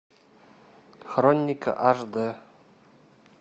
хроника аш д